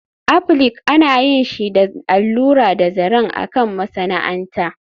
Applique ana yin shi da allura da zaren a kan masana'anta